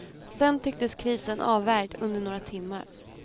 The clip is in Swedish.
Sen tycktes krisen avvärjd under några timmar.